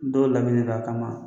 Don de don a kama